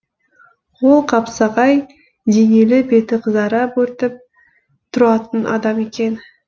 ол қапсағай денелі беті қызара бөртіп тұратын адам екен